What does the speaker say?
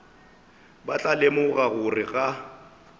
ba tla lemoga gore ga